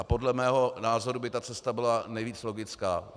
A podle mého názoru by ta cesta byla nejvíc logická.